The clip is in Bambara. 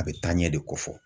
A bɛ taa ɲɛ de ko fɔ.